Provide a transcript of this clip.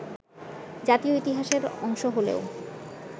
জাতীয় ইতিহাসের অংশ হলেও